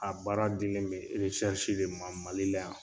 A baara dilen bɛ de ma Mali la yan.